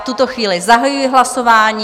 V tuto chvíli zahajuji hlasování.